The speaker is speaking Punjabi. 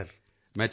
ਠੀਕ ਹੈ ਸਰ